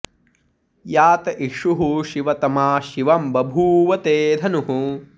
या त इषुः शिवतमा शिवं बभूव ते धनुः